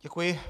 Děkuji.